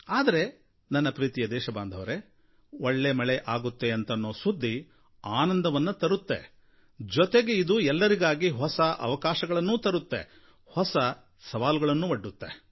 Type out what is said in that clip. ಆದರೆ ನನ್ನ ಪ್ರೀತಿಯ ದೇಶಬಾಂಧವರೇ ಒಳ್ಳೆ ಮಳೆ ಆಗುತ್ತೆ ಅಂತನ್ನೋ ಸುದ್ದಿ ಆನಂದವನ್ನು ತರುತ್ತೆ ಜೊತೆಗೆ ಅದು ಎಲ್ಲರಿಗಾಗಿ ಹೊಸ ಅವಕಾಶಗಳನ್ನೂ ತರುತ್ತೆ ಹೊಸ ಸವಾಲುಗಳನ್ನು ಒಡ್ಡುತ್ತೆ